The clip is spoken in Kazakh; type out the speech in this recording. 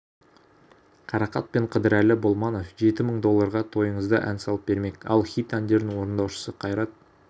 қарақат пен қыдырәлі болманов жеті мың долларға тойыңызда ән салып бермек ал хит әндердің орындаушысы қайрат